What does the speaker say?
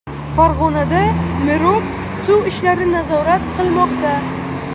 Farg‘onada mirob suv ishlari nazorat qilmoqda.